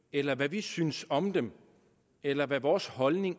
eller hvad vi synes om den eller hvad vores holdning